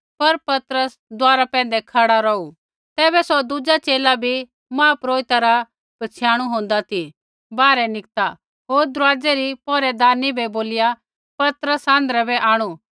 पर पतरस दुआरा पैंधै खड़ा रौहू तैबै सौ दुज़ा च़ेला ज़ो महापुरोहिता रा पछ़ियाणु होन्दा ती बाहरै निकता होर दरुआज़ै री पौहरैदारनी बै बोलिया पतरस आँध्रै बै आंणु